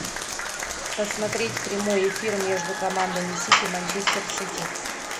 посмотреть прямой эфир между командами сити манчестер сити